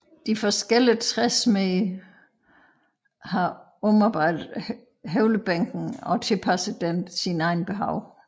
De forskellige træsmede har omarbejdet høvlebænken og tilpasset den sine egne behov